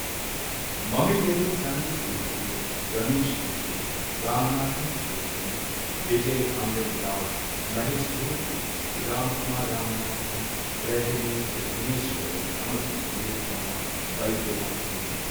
ꯃꯃꯤꯡ ꯂꯩꯔꯕ ꯁꯥꯟꯅꯔꯣꯏꯁꯤꯡ ꯑꯗꯨꯗꯤ ꯔꯃꯦꯁ ꯀ꯭ꯔꯤꯁꯅꯟ, ꯔꯃꯥꯅꯥꯊꯟ ꯀ꯭ꯔꯤꯁꯅꯟ, ꯕꯤꯖꯌ ꯑꯃ꯭ꯔꯤꯠꯔꯥꯖ, ꯃꯍꯦꯁ ꯚꯨꯄꯇꯤ, ꯔꯥꯝꯀꯨꯃꯥꯔ ꯔꯥꯃꯥꯅꯥꯊꯟ, ꯄ꯭ꯔꯖꯅꯦꯁ ꯒꯨꯟꯅꯦꯁ꯭ꯋꯔꯟ ꯑꯃꯁꯨꯡ ꯅꯤꯔꯨꯄꯃꯥ ꯕꯩꯗ꯭ꯌꯅꯥꯊꯟꯅꯤ꯫